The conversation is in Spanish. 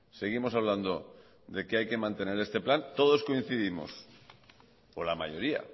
seguimos hablando de que hay que mantener este plan todos coincidimos o la mayoría